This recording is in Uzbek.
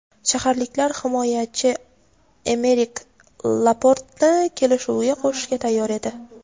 "shaharliklar" himoyachi Emerik Laportni kelishuvga qo‘shishga tayyor edi.